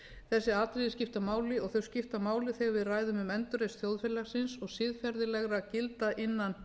þessi atriði skipta máli og þau skipta máli þegar við ræðum um endurreisn þjóðfélagsins og siðferðislegra gilda innan